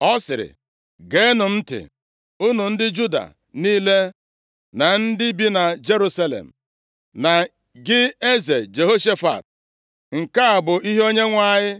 Ọ sịrị, “Geenụ m ntị, unu ndị Juda niile na ndị bi na Jerusalem, na gị eze Jehoshafat. Nke a bụ ihe Onyenwe anyị